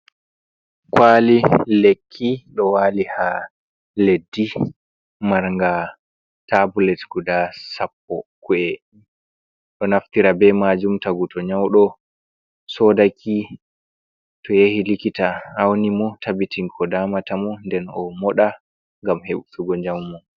Kwali lekki ɗo wali ha leddi marnga tabulet guda sappo, ku’e ɗo naftira be majuum tagu to nyauɗo soodaki to yahi likita auni mo tabitin ko damata mo, nden o moɗa gam heɓugo jammu.